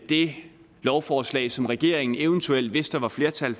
det lovforslag som regeringen eventuelt hvis der var flertal